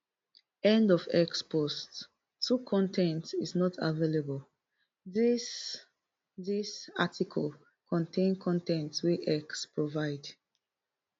end of x post two con ten t is not available dis dis article contain con ten t wey x provide